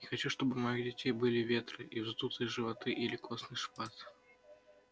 не хочу чтобы у моих детей были ветры и вздутые животы или костный шпат